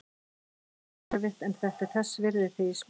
Þetta er mjög erfitt en þetta er þess virði þegar ég spila.